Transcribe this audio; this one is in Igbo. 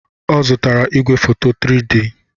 Ọ zụtara igwefoto 3D.